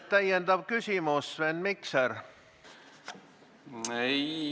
Täpsustav küsimus, Sven Mikser.